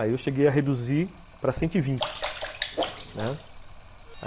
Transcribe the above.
Aí eu cheguei a reduzir para cento e vinte, né?